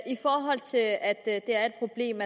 i forhold til at der er et problem